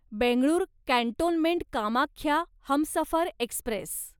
Bengaluru cantonment Kamakhya Humsafar Express